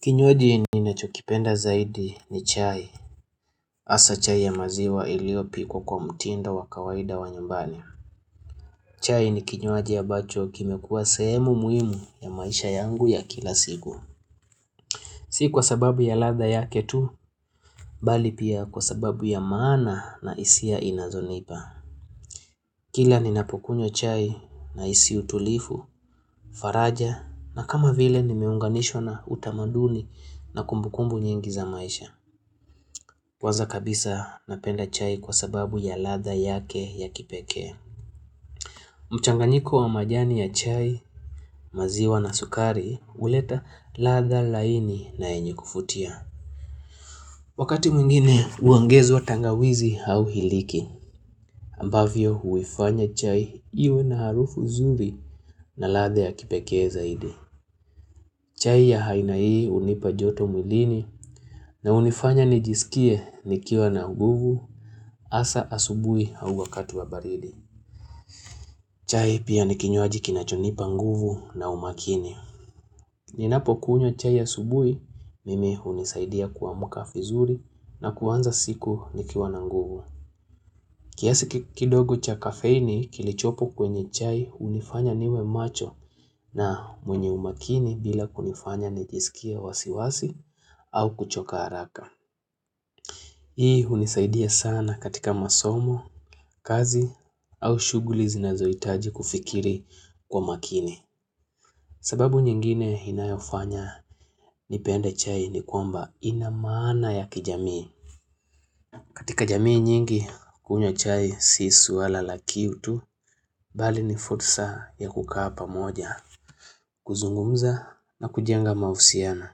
Kinywaji ninachokipenda zaidi ni chai. Hasa chai ya maziwa iliyopiko kwa mtindo wakawaida wa nyambani. Chai ni kinywaji ambacho kimekuwa sehemu muhimu ya maisha yangu ya kila siku. Si kwa sababu ya radha yake tu, bali pia kwa sababu ya maana na hisia inazonipa. Kila ninapokunywa chai na hisi utulivu, faraja na kama vile nimeunganishwa na utamanduni na kumbukumbu nyingi za maisha. Waza kabisa napenda chai kwa sababu ya radha yake ya kipeke. Mchanganyiko wa majani ya chai, maziwa na sukari, huleta radhha laini na yenye kuvutia. Wakati mwingine huongezwa tangawizi au iliki, ambavyo huifanya chai iwe na harufu zuri na radha ya kipekee zaidi. Chai ya aina hii hunipa joto mwilini na hunifanya nijisikie nikiwa na nguvu asa asubui au wakatu wa baridi. Chai pia nikinywaji kinachonipa nguvu na umakini. Ninapo kunywa chai asubui, mimi hunisaidia kuamuka vizuri na kanza siku nikiwa na nguvu. Kiasi kindogo cha kafeini kilichopo kwenye chai hunifanya niwe macho na mwenye umakini bila kunifanya nijisikie wasiwasi au kuchoka haraka. Hii hunisaidia sana katika masomo, kazi au shuguli zinazoitaji kufikiri kwa makini. Sababu nyingine inayofanya nipenda chai ni kwamba inamaana ya kijamii. Katika jamii nyingi, kunywa chai siswala la kiu tu, bali ni fursa ya kukaa pamoja, kuzungumza na kujenga mahusiana.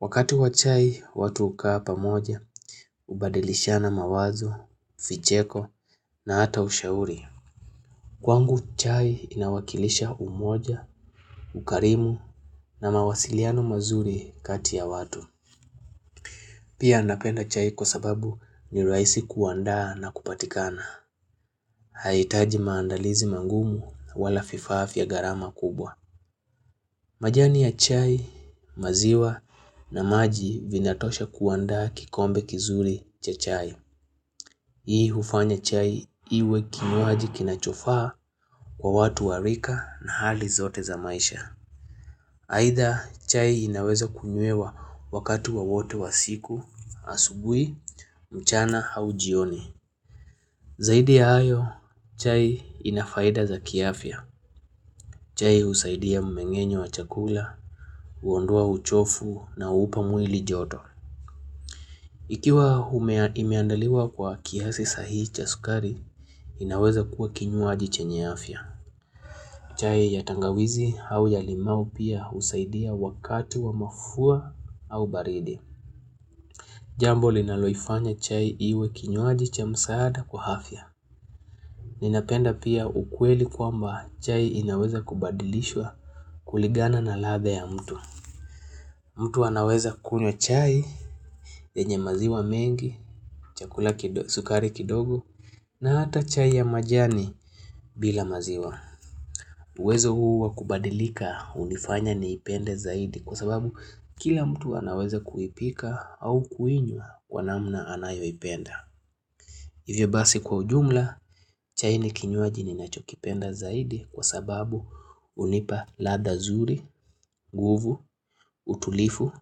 Wakati wa chai, watu hukaa pamoja, hubadilishana mawazo, vicheko na hata ushauri. Kwangu chai inawakilisha umoja, ukarimu na mawasiliano mazuri kati ya watu. Pia napenda chai kwa sababu ni rahisi kuandaa na kupatikana. Hahitaji maandalizi mangumu walai vifaa vya gharama kubwa majani ya chai maziwa na maji vinatosha kuandaa kikombe kizuri cha chai Hii hufanya chai iwe kinywaji kinachofaa kwa watu warika na hali zote za maisha Aidha chai inaweza kunywewa wakatu wowote wa siku asubuhi mchana au jioni Zaidi ya hayo chai inafaida za kiafia chai husaidia mmengenyo wa chakula, huondua uchovu na huupa mwili joto. Ikiwa hume imeandaliwa kwa kiasi sahihi cha sukari, inaweza kuwa kinywaji chenye afya. Chai ya tangawizi au ya limau pia husaidia wakati wa mafua au baridi. Jambo linaloifanya chai iwe kinywaji cha msaada kwa hafia. Ninapenda pia ukweli kwamba chai inaweza kubadilishwa kuligana na ladha ya mtu. Mtu anaweza kunywa chai, yenye maziwa mengi, chakula sukari kidogo na hata chai ya majani bila maziwa. Uwezo huu wakubadilika hunifanya niipende zaidi kwa sababu kila mtu anaweza kuipika au kuinwa kwa namna anayoipenda. Hivyo basi kwa ujumla, chai ni kinywaji ninachokipenda zaidi kwa sababu hunipa ladha zuri, nguvu, utulivu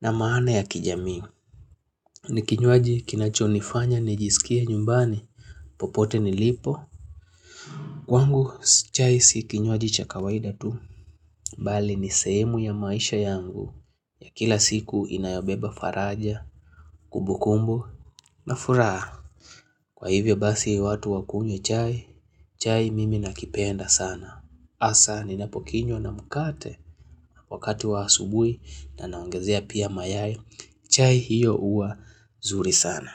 na maana ya kijami. Ni kinywaji kinachonifanya, nijisikiea nyumbani, popote nilipo, kwangu chai si kinywaji chakawaida tu, mbali ni sehemu ya maisha yangu, ya kila siku inayobeba faraja, kubukumbo, furaha. Kwa hivyo basi watu wakunywe chai, chai mimi nakipenda sana, asa ni napokinyo na mkate, wakati waasubui na naongezea pia mayayo, chai hiyo huwa zuri sana.